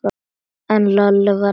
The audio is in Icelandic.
En Lalli var ekkert kátur.